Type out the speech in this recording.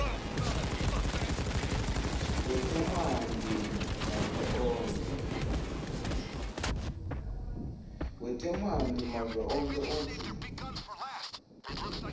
wetemanti wavelonkhe utsi